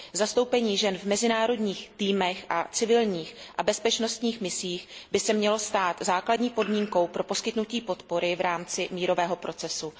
Zastoupení žen v mezinárodních týmech a v civilních a bezpečnostních misích by se mělo stát základní podmínkou pro poskytnutí podpory v rámci mírového procesu.